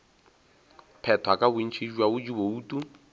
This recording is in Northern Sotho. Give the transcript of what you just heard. phethwa ka bontši bja dibouto